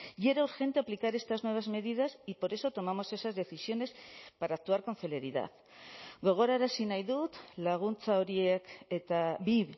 y era urgente aplicar estas nuevas medidas y por eso tomamos esas decisiones para actuar con celeridad gogorarazi nahi dut laguntza horiek eta bi